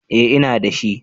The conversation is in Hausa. Eh ina dashi